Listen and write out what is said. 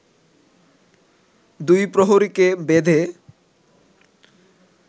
দুই প্রহরীকে বেঁধে